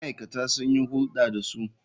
Ma'aikata sun yi hulɗa da su.